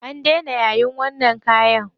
An daina yayin wannan kayan.